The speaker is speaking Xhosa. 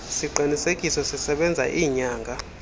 siqinisekiso sisebenza iinyanga